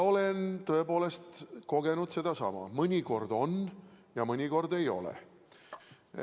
Olen tõepoolest kogenud sedasama: mõnikord on, mõnikord ei ole.